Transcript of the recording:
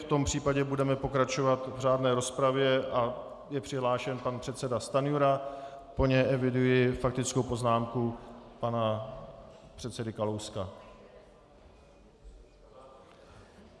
V tom případě budeme pokračovat v řádné rozpravě a je přihlášen pan předseda Stanjura, po něm eviduji faktickou poznámku pana předsedy Kalouska.